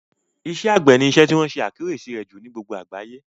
Iṣẹ́ àgbẹ̀ ni isẹ́ tí wọ́n ṣe àkíyèsí rẹ̀ jù ní gbogbo àgbáyé